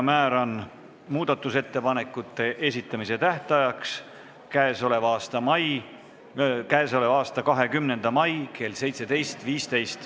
Määran muudatusettepanekute esitamise tähtajaks k.a 20. mai kell 17.15.